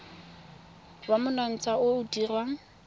wa monontsha o o dirwang